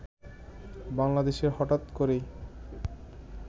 বাংলাদেশে হঠাৎ করেই